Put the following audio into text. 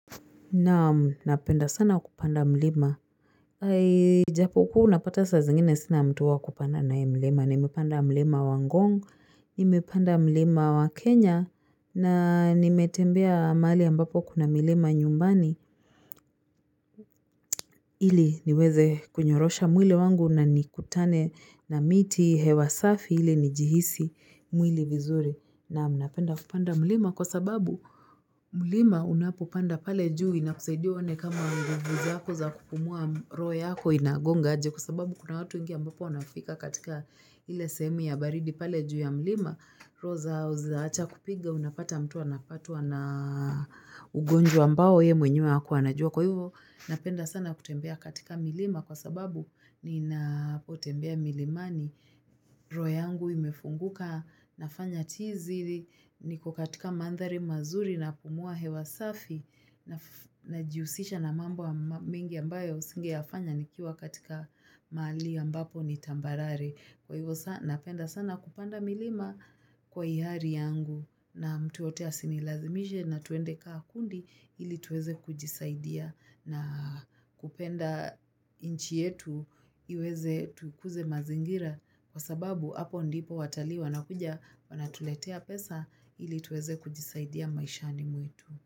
Naam, napenda sana kupanda mlima. Hai, japo kuwa unapata saa zingine sina mtu wa kupanda naye mlima. Nimepanda mlima wa Ngong, nimepanda mlima wa Kenya, na nimetembea mahali ambapo kuna milima nyumbani. Ili niweze kunyorosha mwili wangu na nikutane na miti hewa safi ili nijihisi mwili vizuri. Naam, napenda kupanda mlima kwa sababu, mlima unapopanda pale juu inakusaidia uone kama nguvu zako za kupumua roho yako inagonga aje kwa sababu kuna watu wengi ambapo wanafika katika ile sehemu ya baridi pale juu ya mlima roho zao zinaaacha kupiga unapata mtu anapatwa na ugonjwa ambao yeye mwenyewe hakuwa anajua kwa hivo napenda sana kutembea katika milima kwa sababu ninapotembea milimani. Roho yangu imefunguka nafanya tizi niko katika mandhari mazuri napumua hewa safi najihusisha na mambo mengi ambayo singeyafanya nikiwa katika mahali ambapo ni tambarare. Kwa hivyo sana napenda sana kupanda milima kwa hiari yangu na mtu yoyote asinilazimishe na twende kaa kundi ili tuweze kujisaidia na kupenda nchi yetu iweze tukuze mazingira kwa sababu hapo ndipo watalii wanakuja wanatuletea pesa ili tuweze kujisaidia maishani mwetu.